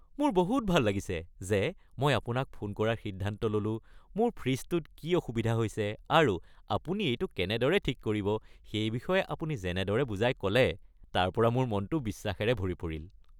মোৰ বহুত ভাল লাগিছে যে মই আপোনাক ফোন কৰাৰ সিদ্ধান্ত ল’লোঁ-মোৰ ফ্ৰিজটোত কি অসুবিধা হৈছে আৰু আপুনি এইটো কেনেদৰে ঠিক কৰিব সেই বিষয়ে আপুনি যেনেদৰে বুজাই ক’লে তাৰ পৰা মোৰ মনটো বিশ্বাসেৰে ভৰি পৰিল।